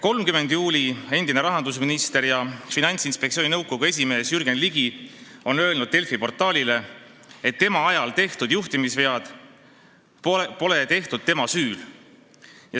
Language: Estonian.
" 30. juulil on endine rahandusminister ja Finantsinspektsiooni nõukogu esimees Jürgen Ligi öelnud Delfi portaalile, et tema ajal tehtud juhtimisvead pole tehtud tema süül.